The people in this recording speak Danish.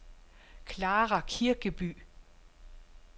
Clara Kirkeby